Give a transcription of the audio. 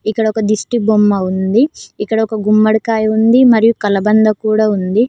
ఇక్కడొక దిష్టిబొమ్మ ఉంది ఇక్కడ ఒక గుమ్మడికాయ ఉంది మరియు కలబంద కూడా ఉంది.